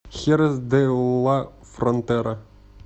херес де ла фронтера